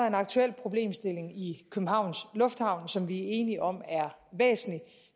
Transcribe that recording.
en aktuel problemstilling i københavns lufthavn som vi er enige om er væsentlig